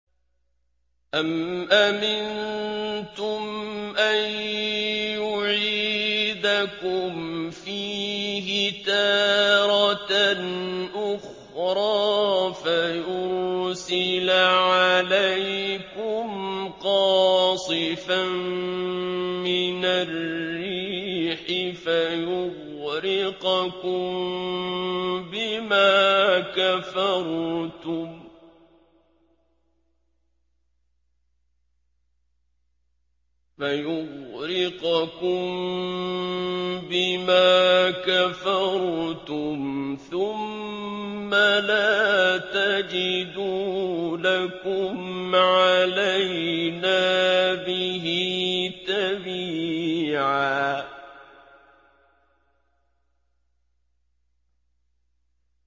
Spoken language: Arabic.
أَمْ أَمِنتُمْ أَن يُعِيدَكُمْ فِيهِ تَارَةً أُخْرَىٰ فَيُرْسِلَ عَلَيْكُمْ قَاصِفًا مِّنَ الرِّيحِ فَيُغْرِقَكُم بِمَا كَفَرْتُمْ ۙ ثُمَّ لَا تَجِدُوا لَكُمْ عَلَيْنَا بِهِ تَبِيعًا